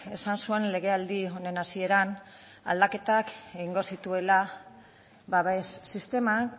esan zuen legealdi honen hasieran aldaketak egingo zituela babes sisteman